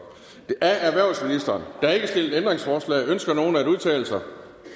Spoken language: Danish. der er ikke stillet ændringsforslag ønsker nogen at udtale sig